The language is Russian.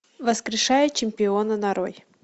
воскрешая чемпиона нарой